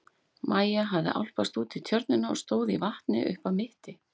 Maja hafði álpast út í tjörnina og stóð í vatni upp að mitti.